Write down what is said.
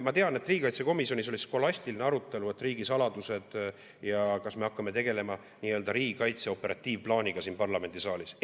Ma tean, et riigikaitsekomisjonis oli skolastiline arutelu, et on riigisaladused ja kas me hakkame tegelema nii-öelda riigikaitse operatiivplaaniga siin parlamendisaalis.